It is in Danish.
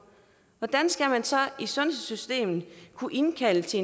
hvordan skal man så i sundhedssystemet kunne indkalde til